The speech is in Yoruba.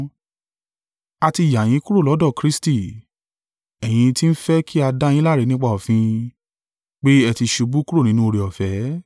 A ti yà yín kúrò lọ́dọ̀ Kristi, ẹ̀yin tí ń fẹ́ kí a dá yín láre nípa òfin; pé ẹ ti ṣubú kúrò nínú oore-ọ̀fẹ́.